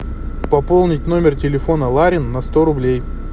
пополнить номер телефона ларин на сто рублей